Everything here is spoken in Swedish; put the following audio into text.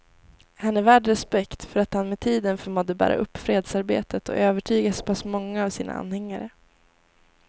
Han är värd respekt för att han med tiden förmådde bära upp fredsarbetet och övertyga så pass många av sina anhängare.